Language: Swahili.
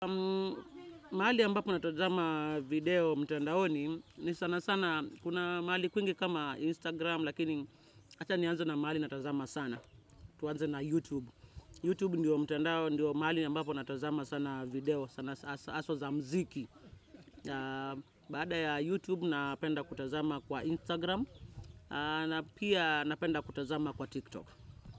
Mahali ya mbapo natazama video mtandaoni ni sana sana kuna mahali kwingi kama Instagram lakini acha nianze na mahali natazama sana. Tuanze na YouTube. YouTube ndio mtandao ndio mahali ambapo natazama sana video sana aswa za mziki. Baada ya YouTube napenda kutazama kwa Instagram na pia napenda kutazama kwa TikTok.